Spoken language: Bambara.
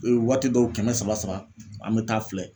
waati dɔw kɛmɛ saba saba an be taa filɛ